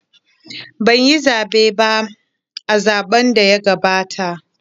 Ban yi zaɓe ba a zaɓn da ya gabata